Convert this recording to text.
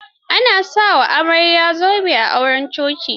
A na sa wa amarya zobe a auren coci.